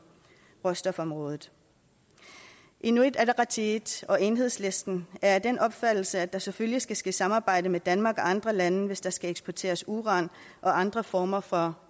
råstofområdet inuit ataqatigiit og enhedslisten er af den opfattelse at der selvfølgelig skal ske samarbejde med danmark og andre lande hvis der skal eksporteres uran og andre former for